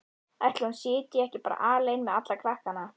Ætli hún sitji bara ekki eftir alein með alla krakkana?